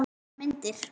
Þetta eru bara myndir!